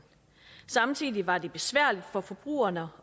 samtidig var det besværligt for forbrugerne